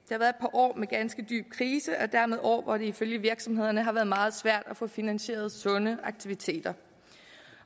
år med ganske dyb krise og dermed år hvor det ifølge virksomhederne har været meget svært at få finansieret sunde aktiviteter